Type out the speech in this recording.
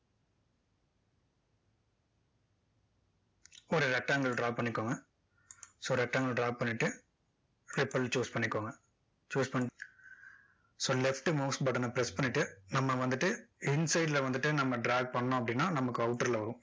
ஒரு rectangle draw பண்ணிக்கோங்க so rectangle draw பண்ணிட்டு repel choose பண்ணிக்கோங்க choose பண்ணிட்டு so left mouse button ன press பண்ணிட்டு நம்ம வந்துட்டு inside ல வந்துட்டு நம்ம drag பண்ணோம் அப்படின்னா நமக்கு outer ல வரும்